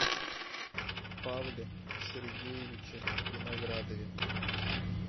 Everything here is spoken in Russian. павле сергеевиче виноградове